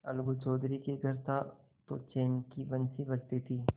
अलगू चौधरी के घर था तो चैन की बंशी बजती थी